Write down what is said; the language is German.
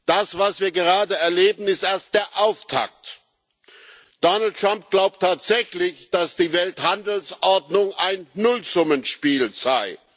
Das, was wir gerade erleben, ist erst der Auftakt. Donald Trump glaubt tatsächlich, dass die Welthandelsordnung ein Nullsummenspiel sei.